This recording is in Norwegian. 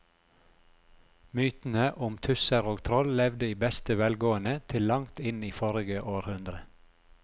Mytene om tusser og troll levde i beste velgående til langt inn i forrige århundre.